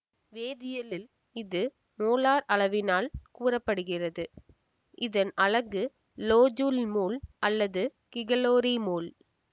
வேதியியலில் இது மோலார் அளவினால் கூற படுகிறது இதன் அலகு லோஜூல் மோல் அல்லது கிகலோரி மோல்